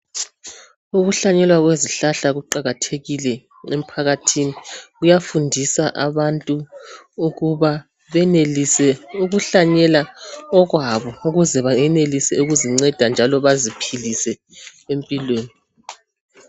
Ukuhlanyela kwezihlahla kuqakathekile emphakathini kuyafundisa abantu ukuba benelise ukuhlanyela okwabo ukuze bayenelise ukuzinceda njalo baziphilise empilweni.